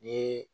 Ni